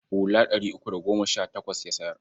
Hula ɗari uku da goma sha takwas ya sayar.